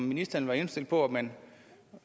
ministeren indstillet på at man